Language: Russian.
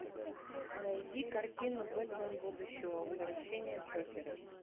найди картину бэтмен будущего возвращение джокера